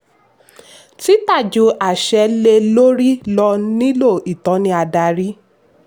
tita ju àṣẹ lé lórí lọ nilo ìtọ́ni adarí.